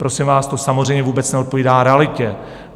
Prosím vás, to samozřejmě vůbec neodpovídá realitě.